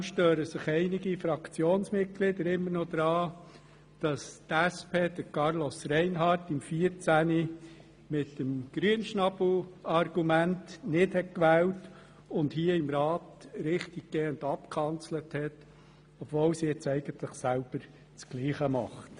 Ausserdem stören sich einige Fraktionsmitglieder immer noch daran, dass die SP Carlos Reinhard 2014 mit dem Grünschnabel-Argument nicht gewählt und ihn hier im Rat richtiggehend abgekanzelt hat, obwohl sie jetzt eigentlich ihrerseits dasselbe tut.